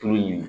Tulu in